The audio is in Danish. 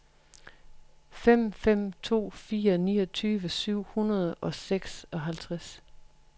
fem fem to fire niogtyve syv hundrede og seksoghalvtreds